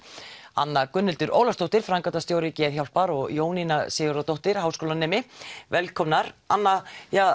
anna Gunnhildur Ólafsdóttir framkvæmdastjóri Geðhjálpar og Jónína Sigurðardóttir háskólanemi velkomnar anna